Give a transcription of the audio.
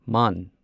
ꯃꯥꯟ